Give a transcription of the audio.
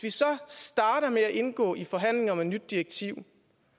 vi så starter med at indgå i forhandlinger om et nyt direktiv